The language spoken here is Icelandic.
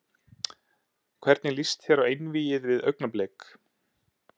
Hvernig lýst þér á einvígið við Augnablik?